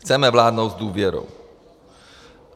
Chceme vládnout s důvěrou.